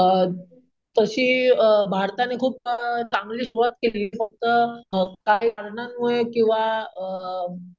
अम तशी अम भारताने खूप अम चांगली सुरवात केली फक्त काही कारणांमुळे किंवा अम